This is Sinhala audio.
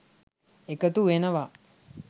එකතු වෙනවා.